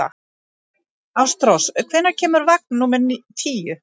Ástrós, hvenær kemur vagn númer tíu?